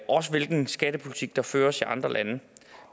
også hvilken skattepolitik der føres i andre lande